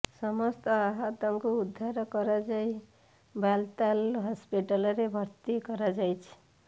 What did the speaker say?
ସମସ୍ତ ଆହତଙ୍କୁ ଉଦ୍ଧାର କରାଯାଇ ବାଲତାଲ ହସ୍ପିଟାଲରେ ଭର୍ତ୍ତି କରାଯାଇଛି